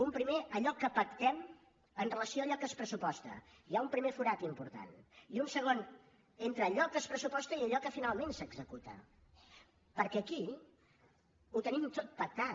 un primer allò que pactem amb relació a allò que es pressuposta hi ha un primer forat important i un segon entre allò que es pressuposta i allò que finalment s’executa perquè aquí ho tenim tot pactat